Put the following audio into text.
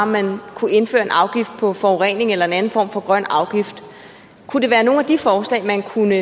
man kunne indføre en afgift på forurening eller en anden form for grøn afgift kunne det være nogle af de forslag man kunne